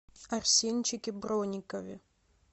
арсенчике бронникове